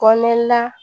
Kɔme la